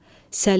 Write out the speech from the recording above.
Səlim!